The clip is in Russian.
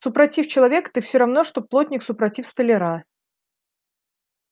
супротив человека ты все равно что плотник супротив столяра